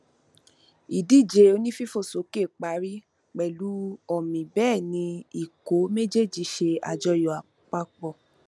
ìdíje onífífòsókè parí pẹlú ọmì bẹẹ ni ikọ méjéèjì ṣe àjọyọ papọ